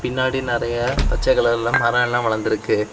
பின்னாடி நறைய பச்சை கலர்ல மரம் எல்லா வளர்ந்துருக்கு.